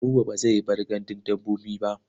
Buba ba zai bar gandun dabbobi ba.